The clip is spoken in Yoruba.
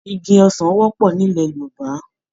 Igi ọsán wọ́pọ̀ nílẹ̀ Yorùbá.